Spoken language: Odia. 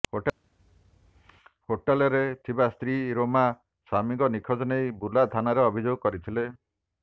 ହୋଟେଲରେ ଥିବା ସ୍ତ୍ରୀ ରୋମା ସ୍ୱାମୀଙ୍କ ନିଖୋଜ ନେଇ ବୁର୍ଲା ଥାନାରେ ଅଭିଯୋଗ କରିଥିଲେ